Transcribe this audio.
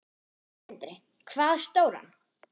Sindri: Hvað stóran?